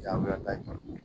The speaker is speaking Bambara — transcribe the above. Jaabi da